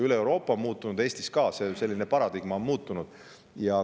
Üle Euroopa ja ka Eestis on paradigma muutunud.